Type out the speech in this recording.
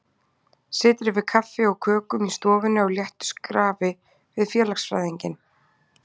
Situr yfir kaffi og kökum í stofunni á léttu skrafi við félagsfræðinginn.